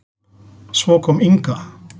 Svo kom Inga.